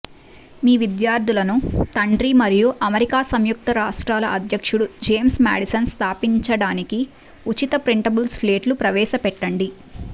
మీ విద్యార్థులను తండ్రి మరియు అమెరికా సంయుక్త రాష్ట్రాల అధ్యక్షుడు జేమ్స్ మాడిసన్ స్థాపించడానికి ఉచిత ప్రింటబుళ్ల సెట్ను ప్రవేశపెట్టండి